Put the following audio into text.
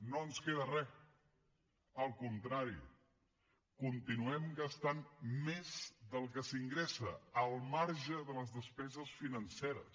no ens queda re al contrari continuem gastant més del que s’ingressa al marge de les despeses financeres